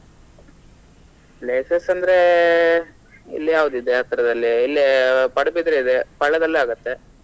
Places ಅಂದ್ರೆ ಇಲ್ಲಿ ಯಾವ್ದು ಇದೆ ಹತ್ರದಲ್ಲಿ ಇಲ್ಲೇ Padubidri ಇದೆ Palla ದಲ್ಲಿ ಆಗತ್ತೆ.